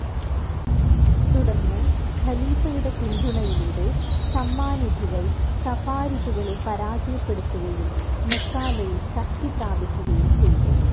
തുടർന്ന് ഖലീഫയുടെ പിന്തുണയിലൂടെ സമ്മാനിധുകൾ സഫാരിധുകളെ പരാജയപ്പെടുത്തുകയും മെക്കാലയിൽ ശക്തി പ്രാപിക്കുകയും ചെയ്തു.